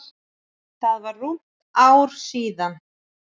Það var rúmt ár síðan.